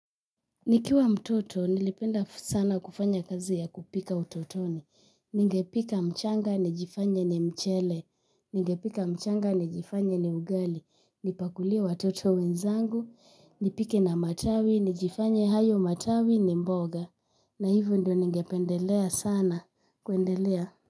Nikiwa mtoto, nilipenda sana kufanya kazi ya kupika utotoni. Ningepika mchanga, nijifanye ni mchele. Ningepika machanga nijifanye ni ugali. Nipakulia watoto wenzangu. Nipike na matawi, nijifanye hayo matawi ni mboga. Na hivo ndo ningependelea sana, kuendelea.